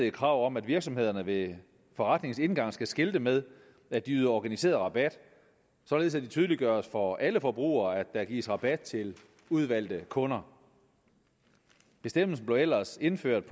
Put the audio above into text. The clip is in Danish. et krav om at virksomhederne ved forretningens indgang skal skilte med at de yder organiseret rabat således at det tydeliggøres for alle forbrugere at der gives rabat til udvalgte kunder bestemmelsen blev ellers indført